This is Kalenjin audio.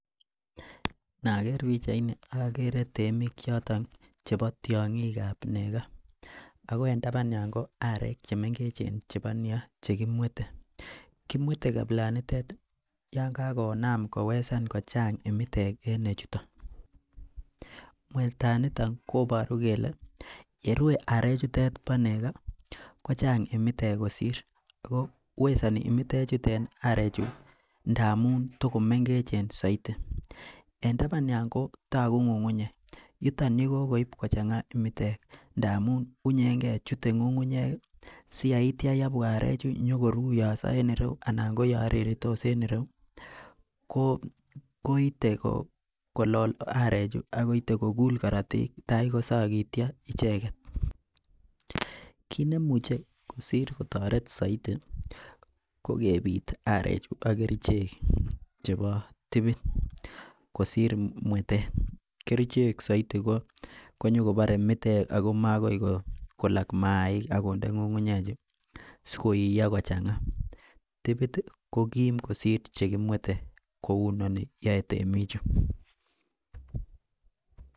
Noker pichaini okere temik. Choton chebo tyonkikab neko ako en taban yon ko arek chemengeche chebo neko chekimwete. Kimwete kapilanitet yon kakonam kochang kimitek en nechuton, mwetanito koboru kele yerue arek chuton bo neko kochang imitek kosir ko wesoni imitet chutet arechu ngamun tokomengechen soiti. En taban yon kotoku ngungunyek yuton yekokoib kochanga imitek ndamun wunyengee chute ngungunyek siyaitya yekobwa arechuu nyokoruyoso en ireyuu anan koyon reritos en ireyuu koite ko kolol arechu akoiste kokul korotik takosokityo icheket. Kit nemuche kosir kotore soiti ko kepit arechuu ak kerichek chebo tipit kosir mwetet kerichek soiti konyo kobore mitek ako makoi kolok maik akonde ngungunyek chuu sikoiyo kochanga. Tipit tii kokim kosir chekimwete kou chuton yoe temik chuu.